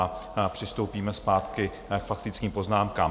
A přistoupíme zpátky k faktickým poznámkám.